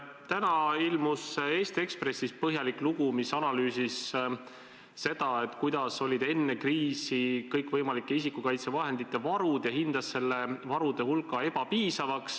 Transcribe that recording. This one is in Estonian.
Täna ilmus Eesti Ekspressis põhjalik lugu, kus analüüsiti seda, kui suured olid enne kriisi kõikvõimalike isikukaitsevahendite varud, ja hinnati nende varude hulka ebapiisavaks.